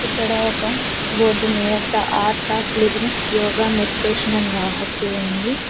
ఇక్కడ ఒక బోర్డు మీద the art of living yoga meditation అని రాసి ఉంది.